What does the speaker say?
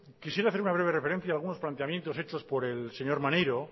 quisiera hacer una breve referencia a algunos planteamientos hechos por el señor maneiro